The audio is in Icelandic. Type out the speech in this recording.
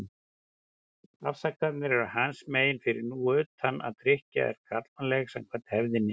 Afsakanirnar eru hans megin, fyrir nú utan að drykkja er karlmannleg, samkvæmt hefðinni.